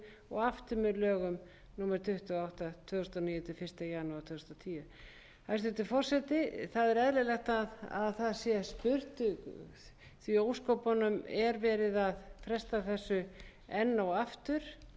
og aftur með lögum númer tuttugu og átta tvö þúsund og níu til fyrsta janúar tvö þúsund og tíu hæstvirtur forseti það er eðlilegt að spurt sé